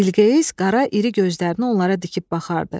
Bilqeyis qara iri gözlərini onlara dikib baxardı.